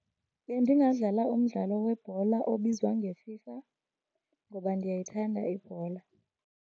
Bendingadlala umdlalo webhola obizwa ngeFIFA ngoba ndiyayithanda ibhola.